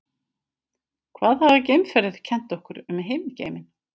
hvað hafa geimferðir kennt okkur um himingeiminn